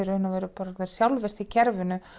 sjálfvirkt í kerfinu